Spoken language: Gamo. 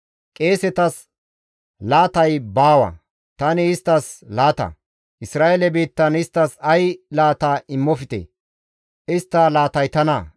« ‹Qeesetas laatay baawa; tani isttas laata. Isra7eele biittan isttas ay laata immofte; istta laatay tana.